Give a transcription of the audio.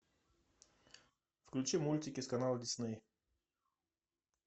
включи мультики с канала дисней